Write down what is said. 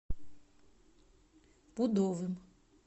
пудовым